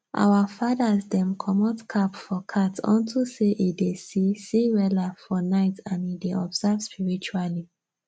our fathers dem comot cap for cat unto say e dey see see weller for night and e dey observe spiritually